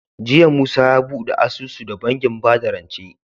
Jiya musa ya buɗe asusu da bankin bada rance